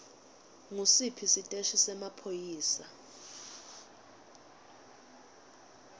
ngusiphi siteshi semaphoyisa